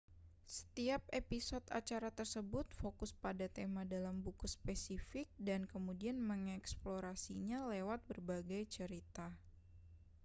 setiap episode acara tersebut fokus pada tema dalam buku spesifik dan kemudian mengeksplorasinya lewat berbagai cerita